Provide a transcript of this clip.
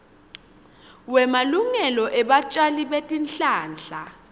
wemalungelo ebatjali betihlahla